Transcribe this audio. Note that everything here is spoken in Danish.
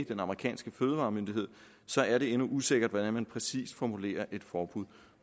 den amerikanske fødevaremyndighed er det endnu usikkert hvordan man præcis formulerer et forbud